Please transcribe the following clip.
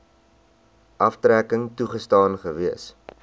aftrekking toegestaan gewees